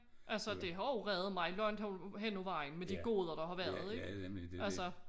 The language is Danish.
Altså det har jo reddet mig langt hen ad vejen med de goder der har været ikke altså